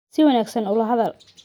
Si wanaagsan ula hadal.